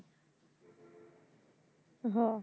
হম